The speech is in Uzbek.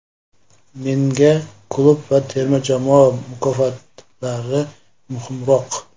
Menga klub va terma jamoa mukofotlari muhimroq.